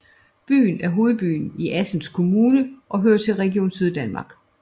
Byen er en hovedbyerne i Assens Kommune og hører til Region Syddanmark